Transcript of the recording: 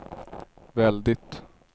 väldigt